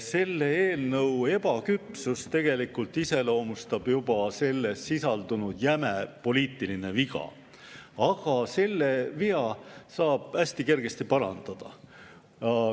Selle eelnõu ebaküpsust tegelikult iseloomustab juba selles sisaldunud jäme poliitiline viga, aga selle vea saab hästi kergesti parandada.